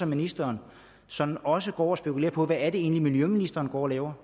ministeren sådan også går og spekulerer på hvad det egentlig er miljøministeren går og laver